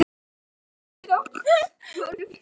Af hverju sneri hann baki við henni?